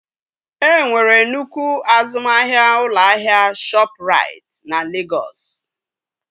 E nwere nnukwu azụmahịa ụlọ ahịa Shọpụrait na Legọs